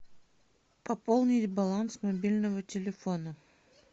пополнить баланс мобильного телефона